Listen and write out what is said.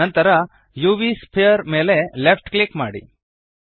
ನಂತರ UV sphere ಮೇಲೆ left click ಮಾಡಿ